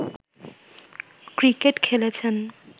cricket খেলেছেন